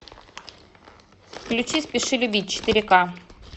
включи спеши любить четыре ка